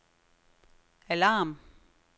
alarm